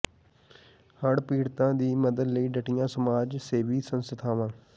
ਹੜ੍ਹ ਪੀੜਤਾਂ ਦੀ ਮਦਦ ਲਈ ਡਟੀਆਂ ਸਮਾਜ ਸੇਵੀ ਸੰਸਥਾਵਾਂ